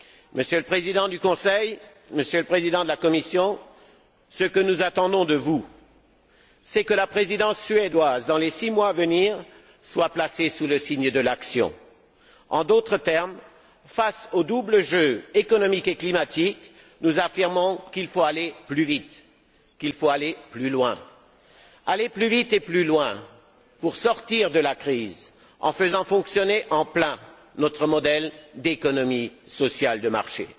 Monsieur le Président du Conseil, Monsieur le Président de la Commission, ce que nous attendons de vous, c'est que la Présidence suédoise, dans les six mois à venir, soit placée sous le signe de l'action. En d'autres termes, face au double jeu économique et climatique, nous affirmons qu'il faut aller plus vite, qu'il faut aller plus loin pour sortir de la crise, en faisant fonctionner à plein notre modèle d'économie sociale de marché.